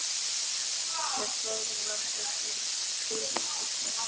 Þeir þögðu meðan þeir biðu eftir þjóninum.